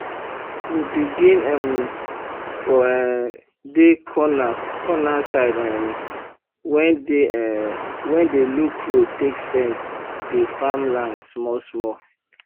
we begin um for um dey corna cona side um wen dey um wen dey look road take fence dey farm land smoll smoll